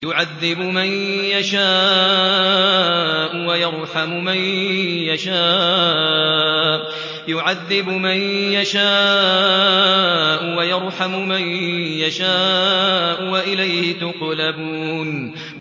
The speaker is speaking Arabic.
يُعَذِّبُ مَن يَشَاءُ وَيَرْحَمُ مَن يَشَاءُ ۖ وَإِلَيْهِ تُقْلَبُونَ